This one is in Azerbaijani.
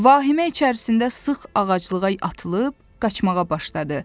Vahimə içərisində sıx ağaclığa atılıb, qaçmağa başladı.